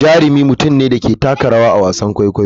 Jarumi mutum ne da ke taka rawa a wasan kwaikwayo.